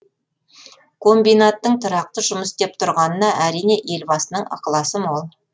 комбинаттың тұрақты жұмыс істеп тұрғанына әрине елбасының ықыласы мол